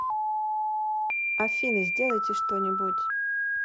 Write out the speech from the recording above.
афина сделайте что нибудь